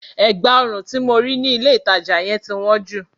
Ẹ̀gbá ọrùn tí mo rí ní ilé ìtajà yẹn ti wọ́n jù.